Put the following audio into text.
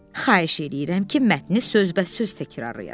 Xahiş eləyirəm ki, mətni sözbəsöz təkrarlayasan.